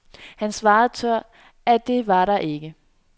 Han svarede tørt, at det var der ikke.